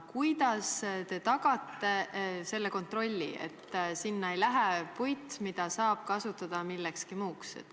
Kuidas te tagate selle kontrolli, et sinna ei lähe puit, mida saab kasutada millekski muuks?